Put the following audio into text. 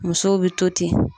Musow bɛ to ten.